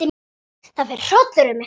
Það fer hrollur um mig.